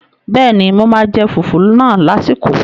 Bẹ́ẹ̀ni, mo máa jẹ fùfú náà lásìkò